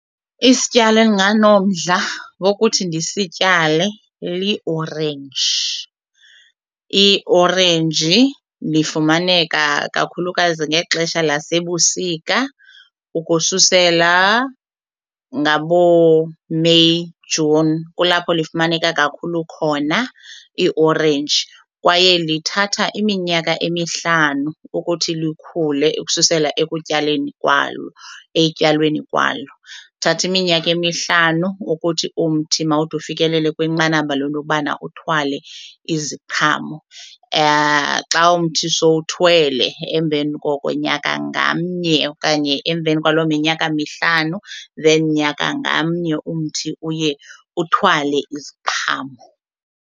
Isityalo endinganomdla wokuthi ndisityale liorenji. Iorenji lifumaneka kakhulukazi ngexesha lasebusika ukususela ngabooMeyi, Juni kulapho lifumaneka kakhulu khona iiorenji kwaye lithatha iminyaka emihlanu ukuthi likhule ukususela ekutyaleni kwalo ekutyalweni kwalo kuthatha iminyaka emihlanu ukuthi umthi mawude ufikelele kwinqanaba lento yobana uthwale iziqhamo. Xa umthi sowuthwele emveni koko nyaka ngamnye okanye emveni kwaloo minyaka mihlanu then nyaka ngamnye umthi uye uthwale iziqhamo.